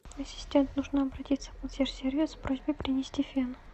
ассистент нужно обратиться в консьерж сервис с просьбой принести фен